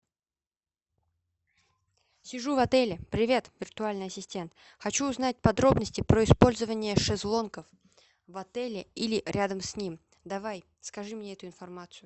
сижу в отеле привет виртуальный ассистент хочу узнать подробности про использование шезлонгов в отеле или рядом с ним давай скажи мне эту информацию